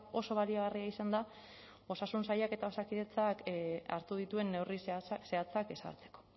oso baliagarria izan da osasun sailak eta osakidetzak hartu dituen neurri zehatzak ezartzeko